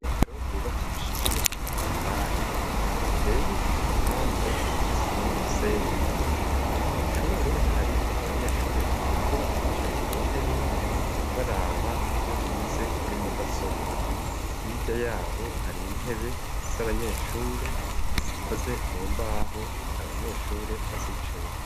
Isomero ryubakishije amatafari riteye igipande c'isima n'umusenyi mu ishure hari abanyeshuri batatu bicaye ku ntebe imwe baraba ibyo bize kuri mudasobwa hijya yabo hari intebe z'abanyeshure zikoze mu mbaho ati abanyeshure bazicayeho.